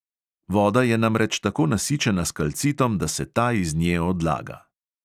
Voda je namreč tako nasičena s kalcitom, da se ta iz nje odlaga.